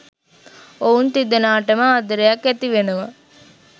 ඔවුන් තිදෙනාටම ආදරයක් ඇති වෙනවා.